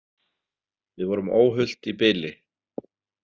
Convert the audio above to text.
Við vorum óhult í bili.